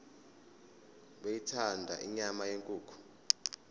beyithanda inyama yenkukhu